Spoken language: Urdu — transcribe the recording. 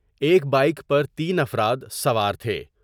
ایک بائیک پر تین افراد سوار تھے ۔